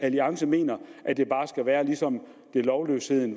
alliance mener at det bare skal være som da lovløsheden